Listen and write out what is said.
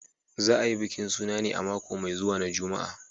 Za a yi bikin suna ne a mako mai zuwa na Juma'a